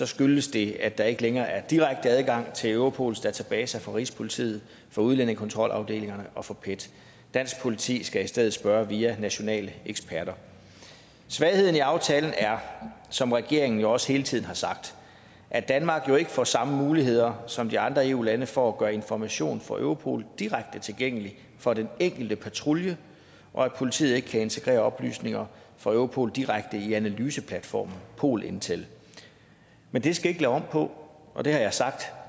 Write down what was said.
skyldes det at der ikke længere er direkte adgang til europols databaser for rigspolitiet for udlændingekontrolafdelingerne og for pet dansk politi skal i stedet spørge via nationale eksperter svagheden i aftalen er som regeringen også hele tiden har sagt at danmark jo ikke får samme muligheder som de andre eu lande for at gøre information fra europol direkte tilgængelig for den enkelte patrulje og at politiet ikke kan integrere oplysninger fra europol direkte i analyseplatformen pol intel men det skal ikke lave om på og det har jeg sagt